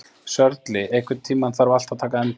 Sörli, einhvern tímann þarf allt að taka enda.